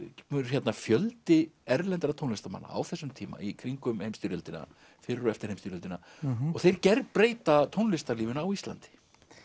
hérna fjöldi erlendra tónlistarmanna á þessum tíma í kringum heimsstyrjöldina fyrir og eftir heimsstyrjöldina og þeir gerbreyta tónlistarlífinu á Íslandi